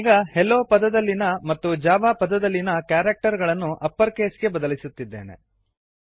ನಾನೀಗ hello hello ಪದದಲ್ಲಿನ ಮತ್ತು ಜಾವಾ ಜಾವಾ ಪದಲ್ಲಿನ ಕ್ಯಾರಕ್ಟರ್ ಗಳನ್ನು ಅಪ್ಪರ್ ಕೇಸ್ ಗೆ ಬದಲಿಸುತ್ತಿದ್ದೇನೆ